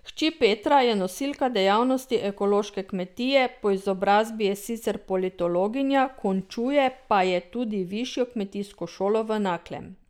Hči Petra je nosilka dejavnosti ekološke kmetije, po izobrazbi je sicer politologinja, končuje pa je tudi višjo kmetijsko šolo v Naklem.